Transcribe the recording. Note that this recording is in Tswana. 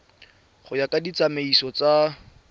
go ya ka ditsamaiso tsa